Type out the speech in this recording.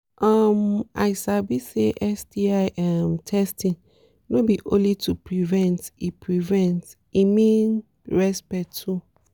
um i sabi say sti um testing no be only to prevent e prevent e mean respect too